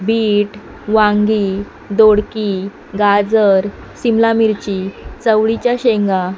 bit वांगी दोडकी गाजर सिमला मिरची चवळीच्या शेंगा --